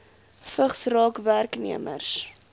vigs raak werknemers